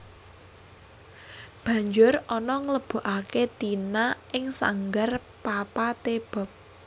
Banjur Ana nglebokaké Tina ing sanggar Papa T Bob